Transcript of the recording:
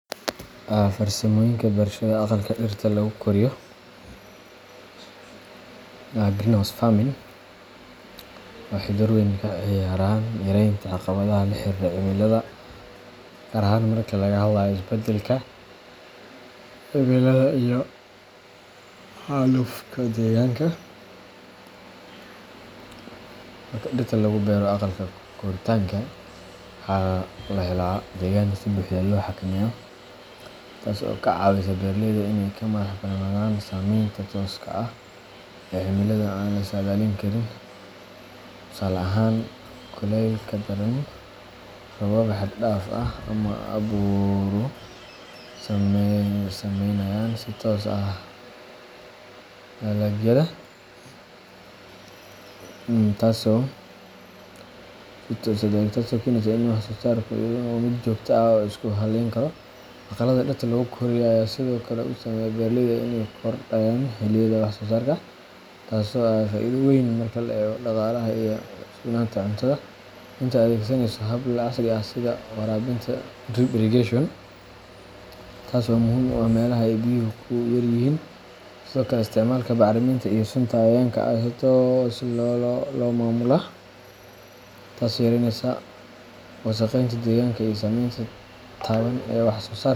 Farsamoyinka beerashada aqalka dhirta lagu koriyo greenhouse farming waxay door weyn ka ciyaaraan yaraynta caqabadaha la xiriira cimilada, gaar ahaan marka laga hadlayo isbeddelka cimilada iyo xaalufka deegaanka. Marka dhirta lagu beero aqalka koritaanka, waxaa la helaa deegaan si buuxda loo xakameeyo, taas oo ka caawisa beeraleyda inay ka madax bannaanadaan saameynta tooska ah ee cimilada aan la saadaalin karin. Tusaale ahaan, kulaylka daran, roobab xad dhaaf ah, ama abaaruhu ma saamaynayaan si toos ah dalagyada, taasoo keenaysa in wax-soosaarku noqdo mid joogto ah oo la isku hallayn karo. Aqallada dhirta lagu koriyo ayaa sidoo kale u saamaxaaya beeraleyda inay kordhiyaan xilliyada wax-soosaarka, taasoo ah faa'iido weyn marka la eego dhaqaalaha iyo sugnaanta cuntada. Intaa waxaa dheer, aqallada noocan ah waxay awood u leeyihiin inay yareeyaan isticmaalka biyaha iyadoo la adeegsanayo habab casri ah sida waraabinta dhibicda drip irrigation, taas oo muhiim u ah meelaha ay biyuhu ku yar yihiin. Sidoo kale, isticmaalka bacriminta iyo sunta cayayaanka ayaa si toos ah loo maamulaa, taasoo yareynaysa wasakheynta deegaanka iyo saameynta taban ee wax-soo-saarka .